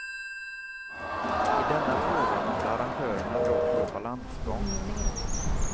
I denna fråga måste arrangörerna dock gå balansgång.